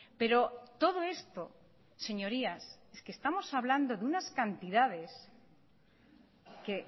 pero todo esto señorías es que estamos hablando de unas cantidades que